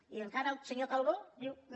i encara el senyor calbó diu no